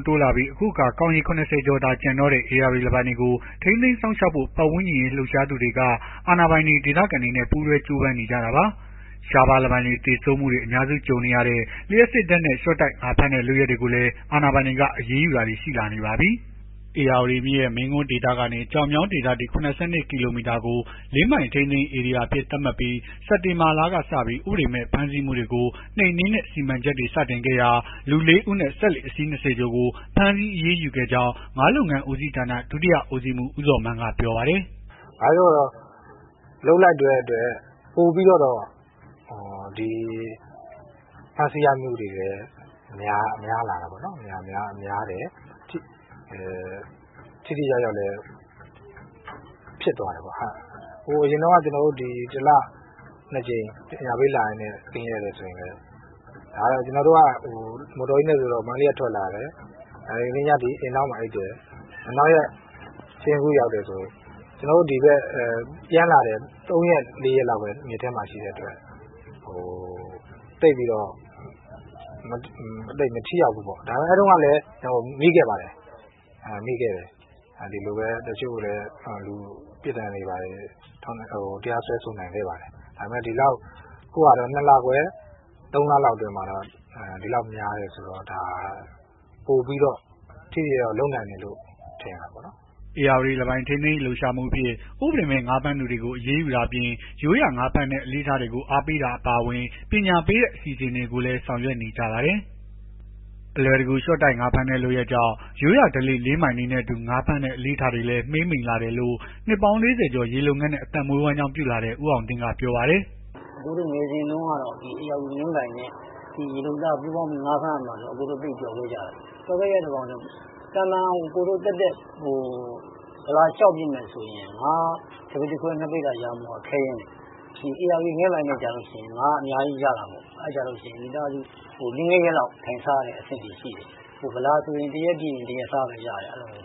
း တိုးလာနေပြီး အခုအခါ ကောင်ရေ ၇၀ ကျော်သာ ကျန်တော့တဲ့ ဧရာဝတီလင်းပိုင်တွေကို ထိန်းသိမ်းစောင့်ရှောက်ဖို့ ပတ်ဝန်းကျင်အရေး လှုပ်ရှားသူတွေက အာဏာပိုင်တွေ၊ ဒေသခံတွေနဲ့ ပူးတွဲ ကြိုးပမ်းနေကြတာပါ။ ရှားပါးလင်းပိုင်တွေ သေဆုံးမှုတွေ အများစု ကြုံရတဲ့ လျှပ်စစ်ဓာတ်နဲ့ လျှော့တိုက် ငါးဖမ်းတဲ့ လုပ်ရပ်တွေကိုလည်း အာဏာပိုင်တွေက အရေးယူတာတွေ ရှိလာနေပါပြီ။ ဧရာဝတီမြစ်ရဲ့ မင်းကွန်းဒေသကနေ ကျောက်မြောင်းဒေသအထိ ၇၂ ကီလိုမီတာကို လင်းပိုင် ထိန်းသိမ်းရေး ဧရိယာအဖြစ်သတ်မှတ်ထားပြီး စက်တင်ဘာလကစပြီး ဥပဒေမဲ့ ဖမ်းဆီးမှုတွေကို နှိမ်နင်းတဲ့ စီမံချက်တွေ စတင်ခဲ့ရာမှာ လူ ၄ ဦးနဲ့ စက်လှေ အစီး ၂၀ ကျော်ကို ဖမ်းဆီး အရေးယူခဲ့ကြောင်း ငါးလုပ်ငန်းဦးစီးဌာန ဒုတိယဦစီးမှူး ဦးဇော်မန်းက ပြောပါတယ်။ “ဘာပဲပြောပြော လုပ်လိုက်တဲ့အတွက် ပိုပြီးတော့ ဖမ်းဆီးရမိမှုတွေလည်း များလာတယ်။ ထိထိရောက်ရောက် လည်းဖြစ်သွားတယ်ပေါ့။ ကျွန်တော်တို့အရင်က တလ ၂ ကြိမ် ပညာပေးလာရင်းနဲ့ ကင်းလှည့်တယ်ဆိုရင် လည်း ကျွန်တော်တို့က မော်တော်ကြီးနဲ့ဆိုတော့ မန္တလေးက ထွက်လာတယ်။ အင်ဒေါင်းမှာအိပ်တယ်။ နောက်ရက် စဉ့်ကူးရောက်တယ်ဆိုရင် ပြန်လာတယ် ၃ ရက် ၄ ရက်လောက်ပဲ မြစ်ထဲမှာ ရှိတဲ့အတွက် သိပ်ပြီး မထိရောက်ဘူးပေါ့။ ဒါပေမယ့် အဲ့တုန်းကလည်း မိခဲ့ပါတယ်။ အဲ့တုန်းကလည်း ပြစ်ဒဏ်တွေဘာတွေ တရားစွဲဆို နိုင်ခဲ့ပါတယ်။ အခု ၂ လခွဲ ၃ လလောက် အတွင်းမှာ ဒီလောက်များတယ်ဆိုတော့ ပိုပြီးထိထိ ရောက်ရောက် လုပ်နိုင်တယ်လို့ထင်တာပေါ့နော်။” ဧရာဝတီလင်းပိုင် ထိန်းသိမ်းရေး လှုပ်ရှားမှုအဖြစ် ဥပဒေမဲ့ ငါးဖမ်းသူတွေကို အရေးယူတာအပြင် ရိုးရာငါးဖမ်းတဲ့ အလေ့အထတွေကို အားပေးတာ အပါအဝင် ပညာပေးတဲ့ အစီအစဉ်တွေကိုလည်း ဆောင်ရွက်နေကြပါတယ်။ အလွယ်တကူ လျှော့တိုက် ငါးဖမ်းတဲ့ လုပ်ရပ်ကြောင့် ရိုးရာဓလေ့ လင်းပိုင်တွေနဲ့အတူ ငါးဖမ်းတဲ့ အလေ့အထတွေလည်း မှေးမှိန်လာတယ်လို့ နှစ်ပေါင်း ၄၀ ကျော် ရေလုပ်ငန်းနဲ့ အသက်မွေး ဝမ်းကြောင်းပြုလာတဲ့ ဦးအောင်သင်းက ပြောပါတယ်။ “အကိုတို့ငယ်စဉ်က ဧရာဝတီလင်းပိုင်နဲ့ ရေလုပ်သား ငါးဖမ်းရမှာဆိုရင် အရမ်းပျော်ခဲ့ကြတာ။ ပျော်ခဲ့ကြတာ ဘာလည်းဆိုတော့ အကိုတို့ သာမန် သက်သက် ဗလာလျှောက်ပစ်မယ်ဆိုရင် ငါး ၁ ပိသာခွဲ ၂ ပိသာ ရဖို့က ခဲယဉ်းတယ်။ ဧရာဝတီလင်းပိုင်နဲ့ကျလို့ရှိရင် ငါးအများကြီးရတာပေါ့။ အဲ့ကျလို့ရှိရင် မိသားစု ၄ ၅ ရက်လောက် ထိုင်စားရတဲ့ အဆင့်ထိရှိတယ်။ ဗလာဆိုရင် တရက်ပစ်တရက်စားပဲရတယ်။”